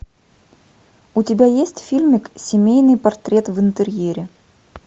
у тебя есть фильмик семейный портрет в интерьере